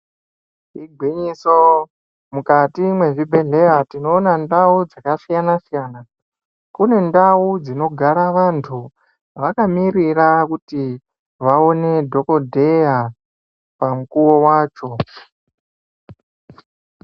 Igwinyiso, mukati mwezvibhedhleya, tinoona ndau dzakasiyana-siyana. Kune ndau dzinogara vantu, vakamirira kuti ,vaone dhokodheya, pamukuwo wacho.